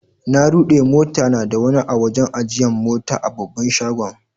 Na rude mota na da wani a'wajen ajiyan mota a babban shagon.